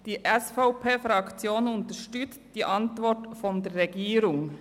Die SVP-Fraktion unterstützt die Antwort der Regierung.